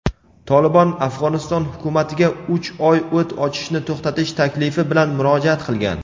"Tolibon" Afg‘oniston hukumatiga uch oy o‘t ochishni to‘xtatish taklifi bilan murojaat qilgan.